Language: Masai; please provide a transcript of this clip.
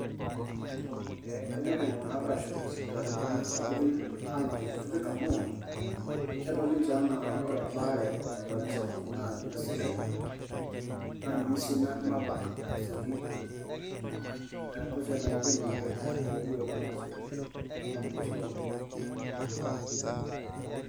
Ee kenyorr iltungana ashom isipitalini sapukin alang inkutiti amu. kedol ninche ena ore embare osipitalini sapukin na ninye esidai na ninye si nabak asioki na kedol si ena ketum ilkeek asioki alang tosipitalini kutiti.